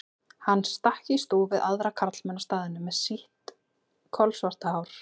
Hann stakk í stúf við aðra karlmenn á staðnum með sitt kolsvarta hár.